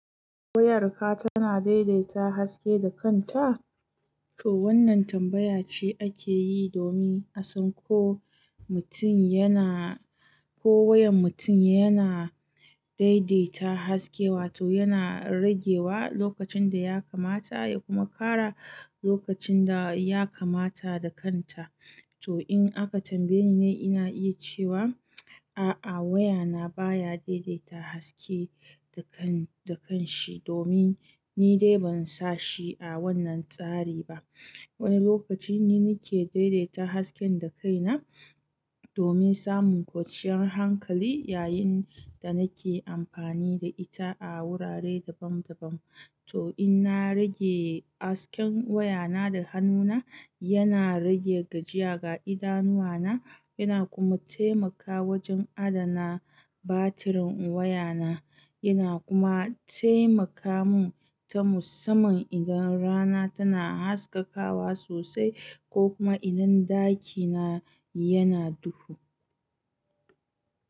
Wayarka tana daidaita haske da kanta? To wannan tambaya ce ake yi domin a san ko mutum yana, ko wayan mutum yana daidaita haske, wato yana rage wa lokacin da ya kamata ya kuma ƙara lokacin da ya kamata da kanta. To in aka tambaye ni ne ina iya cewa, a'a wayana baya daidaita haske da kan, da kanshi domin ni dai ban sa shi a wannan tsari ba. Wani lokaci ni nike daidaita hasken da kaina domin samun kwanciyar hankali yayin da nake amfani da ita a wurare daban daban. To in na rage hasken wayana da hannuna, yana rage gajiya ga idanuwa na, yana kuma taimaka wajen adana batirin wayana. Yana kuma taimaka mun ta musamman idan rana tana haskakawa sosai ko kuma idan ɗakina yana duhu.